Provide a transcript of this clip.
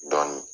Dɔn